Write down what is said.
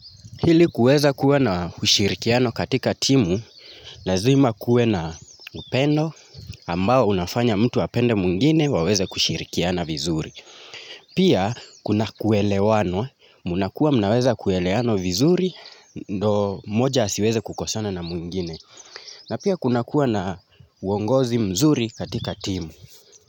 Hili kuweza kuwa na ushirikiano katika timu, lazima kuwe na upendo ambao unafanya mtu apende mwingine waweze kushirikiana vizuri. Pia kuna kuelewenwa, mnakuwa mnaweza kueleano vizuri, ndo moja asiweze kukosana na mwingine. Na pia kuna kuwa na uongozi mzuri katika timu.